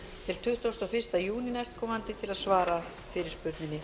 til tuttugasta og fyrsta júní næstkomandi til að svara fyrirspurninni